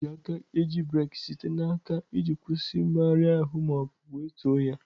A na-eji aka eji breeki site n'aka iji kwụsị mmegharị ahụ ma ọ bụ wetuo ya.